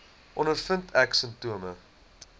ondervind ek simptome